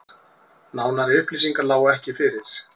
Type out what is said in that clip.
Nánari upplýsingar lágu ekki fyrir